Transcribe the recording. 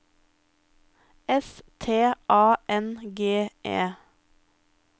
S T A N G E